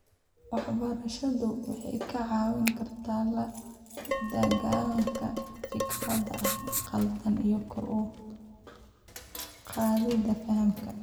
Waxbarashadu waxay kaa caawin kartaa la dagaalanka fikradaha qaldan iyo kor u qaadida fahamka.